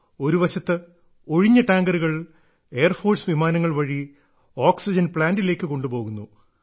ഒരുവശത്ത് ഒഴിഞ്ഞ ടാങ്കറുകൾ എയർഫോഴ്സ് വിമാനങ്ങൾ വഴി ഓക്സിജൻ പ്ലാന്റിലേക്ക് കൊണ്ടുപോകുന്നു